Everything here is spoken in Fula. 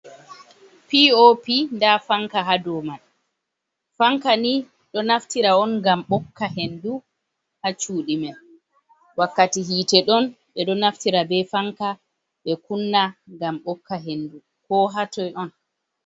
POP nda fanka ha do man. Fanka ni ɗo naftira on ngam ɓokka hendu ha cuɗi man wakkati hite ɗon, ɓe ɗo naftira be fanka ɓe kunna ngam bokka hendu ko hatoi on